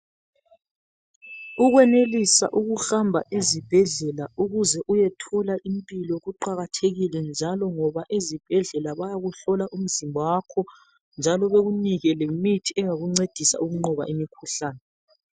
Ukwenelisa ukuhamba ezibhedlela ukuze uyethola impilo kuqakathekile njalo ngoba ezibhedlela bayakuhlola umzimba wakho njalo bakunike imithi engakuncedisa ukunqoba imikhuhlane.